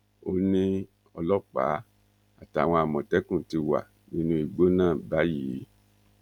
ó ní ọlọpàá àtàwọn àmọtẹkùn ti wà nínú igbó náà báyìí